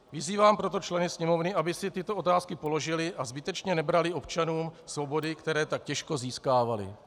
Vyzývám proto členy Sněmovny, aby si tyto otázky položili a zbytečně nebrali občanům svobody, které tak těžko získávali.